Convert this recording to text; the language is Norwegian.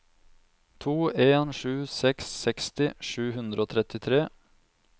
to en sju seks seksti sju hundre og trettitre